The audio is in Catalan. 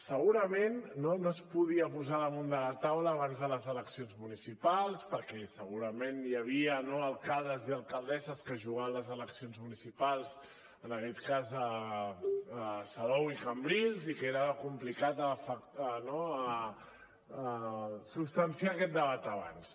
segurament no es podia posar damunt de la taula abans de les eleccions municipals perquè segurament hi havia no alcaldes i alcaldesses que es jugaven les eleccions municipals en aquest cas a salou i a cambrils i era complicat substanciar aquest debat abans